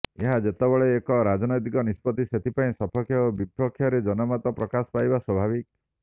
ଏହା ଯେତେବେଳେ ଏକ ରାଜନୈତିକ ନିଷ୍ପତ୍ତି ସେଥିପାଇଁ ସପକ୍ଷ ଓ ବିପକ୍ଷରେ ଜନମତ ପ୍ରକାଶ ପାଇବା ସ୍ବାଭାବିକ